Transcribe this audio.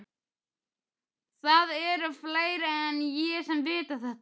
Það eru fleiri en ég sem vita þetta.